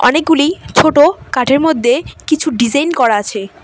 অনেকগুলি ছোট কাঠের মধ্যে কিছু ডিজাইন করা আছে।